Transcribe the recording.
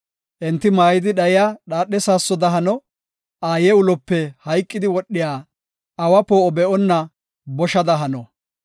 Enti maaydi dhayiya dhaadhe saassoda hano; aaye ulope hayqidi wodhiya, awa poo7o be7onna boshada hano.